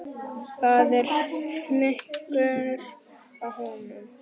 Það er fnykur af honum.